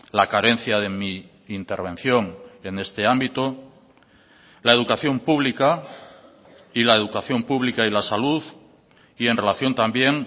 la carencia de mi intervención en este ámbito la educación pública y la educación pública y la salud y en relación también